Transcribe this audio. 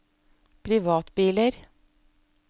privatbiler